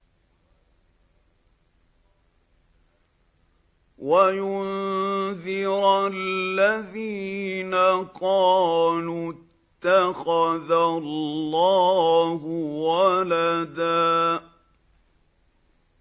وَيُنذِرَ الَّذِينَ قَالُوا اتَّخَذَ اللَّهُ وَلَدًا